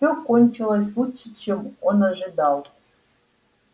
всё кончилось лучше чем он ожидал